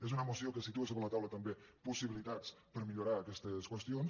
és una moció que situa sobre la taula també possibilitats per millorar aquestes qüestions